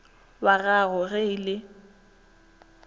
wag ago ge e le